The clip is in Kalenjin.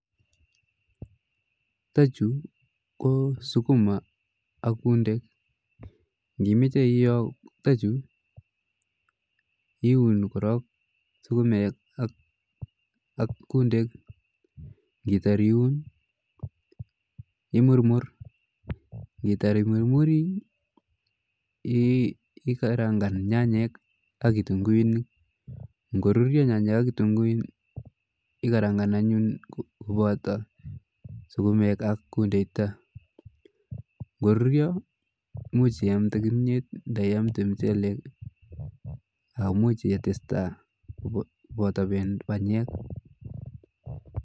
Chuto chuu ko sukuma ak kundek ng'imoche iyoo chuto chuu kiuni korok sukumek ak kundek ng'itar iuun imurmur, ng'itar imurmuri iikarang'an nyanyek ak kitung'uinik, ng'oruryo nyanyek ak kitung'uinik ikarang'an anyun koboto sukumek ak kundechuton, ng'oruryo imuch iamnde kimnyeet ndiamte mchelek imuch itesta koboto banyek.